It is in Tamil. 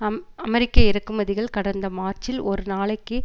அம் அமெரிக்க இறக்குமதிகள் கடந்த மார்ச்சில் ஒரு நாளைக்கு